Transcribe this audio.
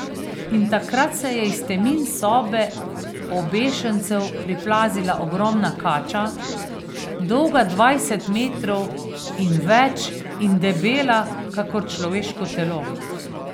In takrat se je iz temin sobe obešencev priplazila ogromna kača, dolga dvajset metrov in več in debela kakor človeško telo.